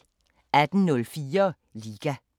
18:04: Liga